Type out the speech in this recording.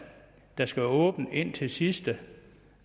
der skal være åbent indtil sidste